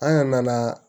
An nana